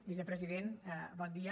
vicepresident bon dia